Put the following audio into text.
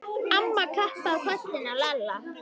Amma klappaði á kollinn á Lalla.